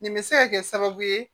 Nin bɛ se ka kɛ sababu ye